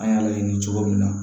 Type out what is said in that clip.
An y'a laɲini cogo min na